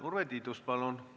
Urve Tiidus, palun!